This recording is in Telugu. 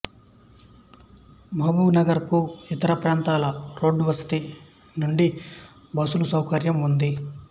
మహబూబ్ నగర్ కు ఇతర ప్రాంతాలకు రోడ్డు వసతి వుండి బస్సుల సౌకర్యం ఉంది